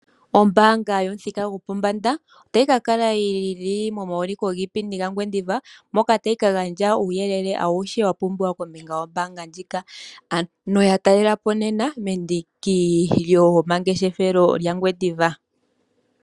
Ombaanga yomuthika gopombanda otayi ka kala yili momawulikilo giipindi gaNgwediva moka tayi kagandja uuyelele auhe wapumbwa kombinga yombaanga ndjika. Ano yatalelapo nena mendiki lyomangeshefelo gaNgwediva.